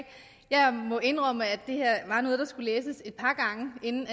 jeg må indrømme at det her var noget der skulle læses et par gange inden